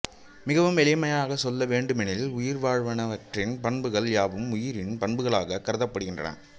மிகவும் எளிமையாகச் சொல்ல வேண்டுமெனில் உயிர்வாழ்வனவற்றின் பண்புகள் யாவும் உயிரின் பண்புகளாகக் கருதப்படுகின்றன